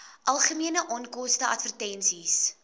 algemene onkoste advertensies